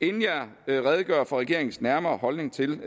inden jeg redegør for regeringens nærmere holdning til